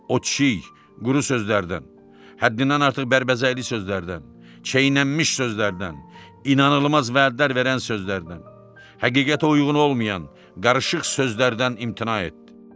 O çiy, quru sözlərdən, həddindən artıq bərbəzəkli sözlərdən, çeynənilmiş sözlərdən, inanılmaz vədlər verən sözlərdən, həqiqətə uyğun olmayan, qarışıq sözlərdən imtina etdi.